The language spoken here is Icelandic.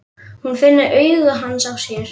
Hún finnur augu hans á sér.